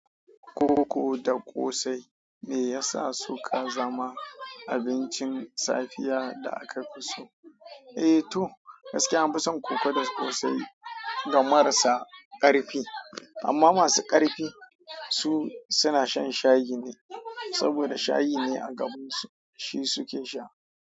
Koko da ƙosai meyasa suka zama abincin safiya da aka fi so. Eh toh gaskiya anfi son koko da kosai ga marasa karfi, amma masu karfi suna shan shayi neh sabida shayi ne agabansu shi suke sha.